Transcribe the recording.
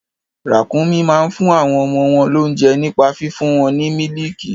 Ràkúnmí máa ń fún àwọn ọmọ wọn lóunjẹ nípa fífún wọn ní mílìkì.